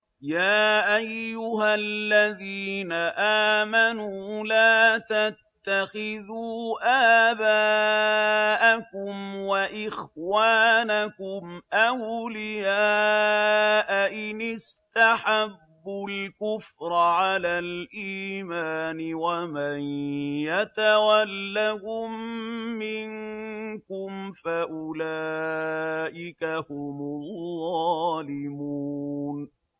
يَا أَيُّهَا الَّذِينَ آمَنُوا لَا تَتَّخِذُوا آبَاءَكُمْ وَإِخْوَانَكُمْ أَوْلِيَاءَ إِنِ اسْتَحَبُّوا الْكُفْرَ عَلَى الْإِيمَانِ ۚ وَمَن يَتَوَلَّهُم مِّنكُمْ فَأُولَٰئِكَ هُمُ الظَّالِمُونَ